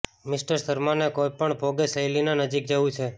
mister શર્માને કોઇપણ ભોગે શૈલાની નજીક જવું છે